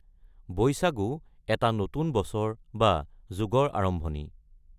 বৈসাগু এটা নতুন বছৰ বা যুগৰ আৰম্ভণি।